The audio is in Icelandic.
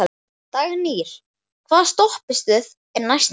Dagnýr, hvaða stoppistöð er næst mér?